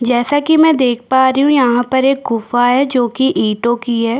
जैसा की मे देख पा रही हूँ यहाँ पर एक गुफा है जो कि ईट की है।